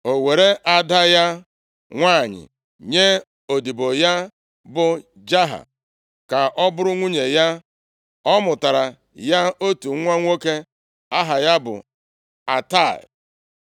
O weere ada ya nwanyị nye odibo ya bụ Jaha, ka ọ bụrụ nwunye ya. Ọ mụtara ya otu nwa nwoke aha ya bụ Atai.